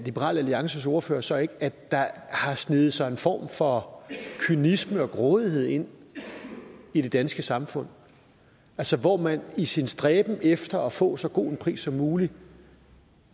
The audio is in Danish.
liberal alliances ordfører så ikke at der har sneget sig en form for kynisme og grådighed ind i det danske samfund altså hvor man i sin stræben efter at få så god en pris som muligt